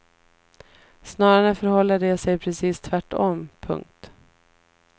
Snarare förhåller det sig precis tvärtom. punkt